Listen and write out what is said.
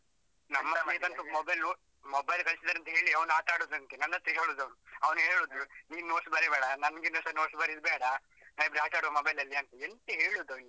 ನನ್ ಅಂತೂ mobile ನೋಡಿ mobile ಕೊಡಿಸಿದ್ದಾರಂತೇಳಿ ಅವನು ಆಟ ಆಡುದುದಂತೆ, ನನ್ನತ್ರ ಹೇಳುದು ಅವನು. ಅವನು ಹೇಳುದು ನೀನ್ notes ಬರೀಬೇಡ, ಸ notes ಬರೆಯುದು ಬೇಡ ನಾವಿಬ್ರು ಆಟ ಆಡುವ mobile ಅಲ್ಲಿ ಅಂತ. ಎಂತ ಹೇಳುದಾ ಅವನಿಗೆ?